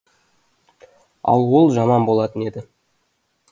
ал ол жаман болатын еді